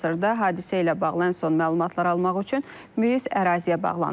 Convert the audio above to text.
Hazırda hadisə ilə bağlı ən son məlumatlar almaq üçün miz əraziyə bağlanırıq.